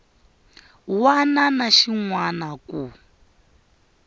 wana na xin wana ku